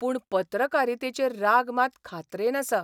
पूण पत्रकारितेचेर राग मात खात्रेन आसा.